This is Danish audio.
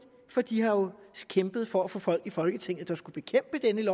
for de har jo kæmpet for at få folk i folketinget der skulle bekæmpe dette